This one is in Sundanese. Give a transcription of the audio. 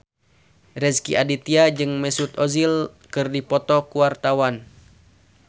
Rezky Aditya jeung Mesut Ozil keur dipoto ku wartawan